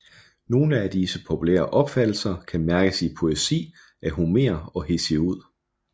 Nogle af disse populære opfattelser kan mærkes i poesi af Homer og Hesiod